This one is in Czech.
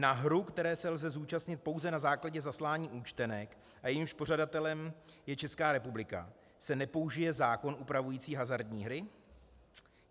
Na hru, které se lze zúčastnit pouze na základě zaslání účtenek a jejímž pořadatelem je Česká republika, se nepoužije zákon upravující hazardní hry?